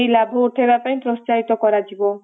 ଲାଭ ଉଠେଇବା ପାଇଁ ସବୁ ପ୍ରୋତ୍ସ୍ୟାହିତ କରାଯିବ ।